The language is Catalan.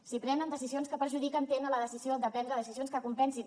si prenen decisions que perjudiquen tenen la decisió de prendre decisions que compensin